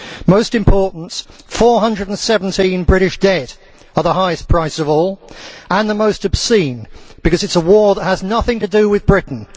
Most importantly, 417 British dead are the highest price of all and the most obscene, because it is a war that has nothing to do with Britain.